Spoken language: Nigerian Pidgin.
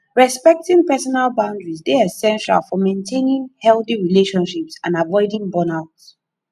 respecting personal boundaries dey essential for maintaining healthy relationships and avoiding burnout